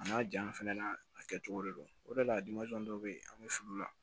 A n'a janya fɛnɛ na a kɛcogo de don o de la dɔ bɛ yen an bɛ fili u la